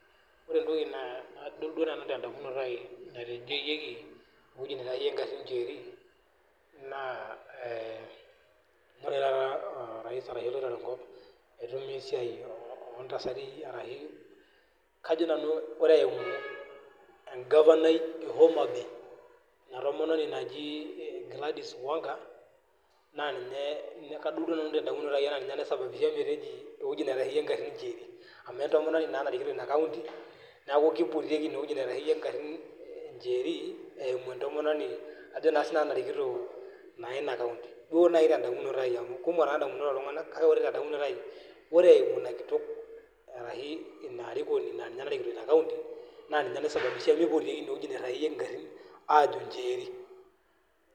Ore etoki nadol nanu te damunoto ai natejoyieki ewueji neitasheyie garin 'njeri 'naa ee ore taata orais aa oitore ekop itumia ntasati aa shu ajo nanu, ore eimu e governor I e homa bay ina tomononi naji gladys wanga naa ninye kadol duo nanu te damunoto ai aa ninye naisababisha meteji ewueji neitasheyie garin 'njeri' amu etomononi naa narikito ina county. Neaku kepuoi aajo ine wueji neitasheyie garin 'njeri' eimu etomononi ajo naa sinanu narikito naa ina county. Oooh naaji te damunoto ai amu kumok taa damunot oltungani kake ore te damunoto ai. Ore eimu ina kitok arashi ina arikoni ina naa ninye narikito ina county naa ninye naisababisha meipotieki ine wueji neitasheyie garin aajo 'njeri '.